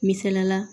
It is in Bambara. Misaliyala